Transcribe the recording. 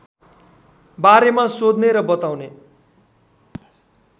बारेमा सोध्ने र बताउने